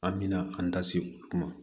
An bɛna an da se o kuma